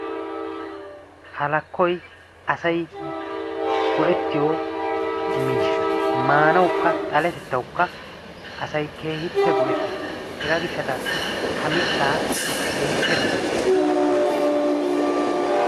Halakkoyi asayi go"ettiyo miishsha maanawukka xaletettawukka asayi keehippe go"ettes. Hegaa gishshataassi ha mittaa keehippe dosayis.